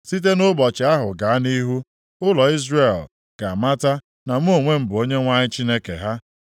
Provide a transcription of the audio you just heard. Site nʼụbọchị ahụ gaa nʼihu, ụlọ Izrel ga-amata na mụ onwe m bụ Onyenwe anyị Chineke ha.